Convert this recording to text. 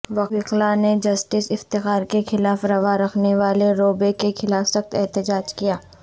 وکلاء نے جسٹس افتخار کے خلاف روا رکھے جانے رویے کے خلاف سخت احتجاج کیا